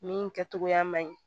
Min kɛ togoya man ɲi